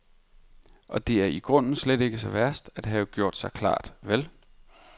Og det er da i grunden slet ikke så værst at have gjort sig klart, vel?